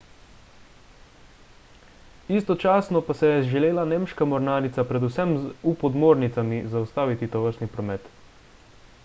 istočasno pa je želela nemška mornarica predvsem z u-podmornicami zaustaviti tovrstni promet